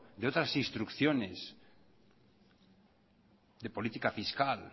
de otras instrucciones de política fiscal